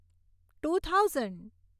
to thousand